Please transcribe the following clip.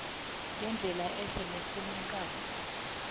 ngendlela ehle nefaneleko